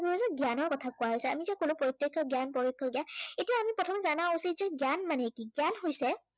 জ্ঞানৰ কথা কোৱা হৈছে। আমি যে কলো প্ৰত্য়ক্ষ জ্ঞান পৰোক্ষ জ্ঞান। এতিয়া আমি প্ৰথমে জানা উচিত যে জ্ঞান মানে কি? জ্ঞান হৈছে